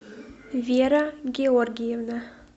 вера георгиевна